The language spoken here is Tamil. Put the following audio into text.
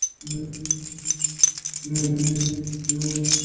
ஹம் ஹம் ஹம் ஹம்